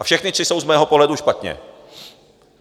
A všechny tři jsou z mého pohledu špatně.